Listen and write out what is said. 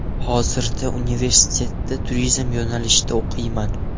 Hozirda universitetda turizm yo‘nalishida o‘qiyman.